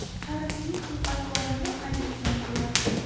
Karimning xulq-atvorini qayd etgan bo‘lardim.